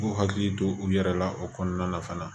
U k'u hakili to u yɛrɛ la o kɔnɔna na fana